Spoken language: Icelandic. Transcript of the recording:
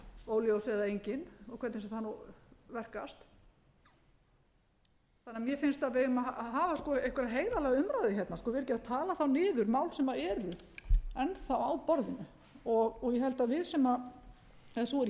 óljós eða engin og hvernig sem það nú verkast þannig að mér finnst að við eigum að hafa einhverja heiðarlega umræðu hérna vera ekki að tala þá niður mál sem eru enn á borðinu ég held að við sem eða sú er